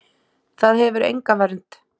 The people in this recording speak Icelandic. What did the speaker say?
Það hefur enga vernd.